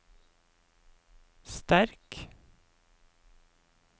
sterk